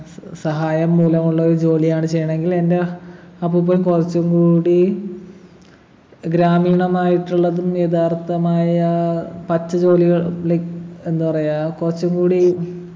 സ് സഹായം മൂലമുള്ളൊരു ജോലിയാണ് ചെയ്യണെ എങ്കിൽ എൻ്റെ അപ്പൂപ്പൻ കുറച്ചുംകൂടി ഗ്രാമീണമായിട്ടുള്ളതും യഥാർത്ഥമായ പറ്റു ജോലികൾ like എന്താ പറയാ കൊറച്ചുംകൂടി